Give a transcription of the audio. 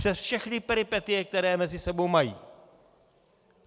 Přes všechny peripetie, které mezi sebou mají.